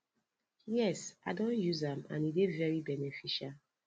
yes i don use am and e dey very beneficial